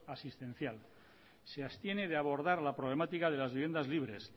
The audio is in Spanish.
asistencial se abstiene de abordar la problemática de las viviendas libres